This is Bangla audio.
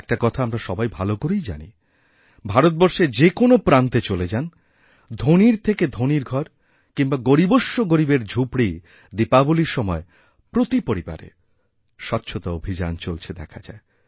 একটা কথাআমরা সবাই ভালো করেই জানি ভারতবর্ষের যে কোনও প্রান্তে চলে যান ধনীর থেকে ধনীরঘর কিংবা গরীবস্য গরীবের ঝুপড়ি দীপাবলীর সময় প্রতি পরিবারে স্বচ্ছতা অভিযান চলছেদেখা যায়